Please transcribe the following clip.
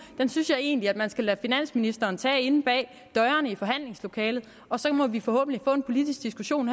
synes jeg egentlig man skal lade finansministeren tage inde bag dørene i forhandlingslokalet og så må vi forhåbentlig få en politisk diskussion